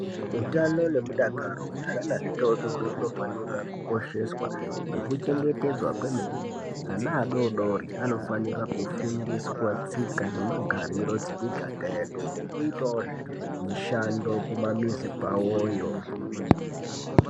Utano nemudakaro wezvana zvitori tori hunofanira kukosheswa nekuchengetedzwa kwemene. Ana adori dori anofanira kufundiswe tsika nemagariro dzemigadha yedu nekuitawozve mishando kumamizi kwavoyo.